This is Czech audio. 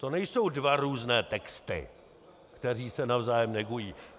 To nejsou dva různé texty, které se navzájem negují.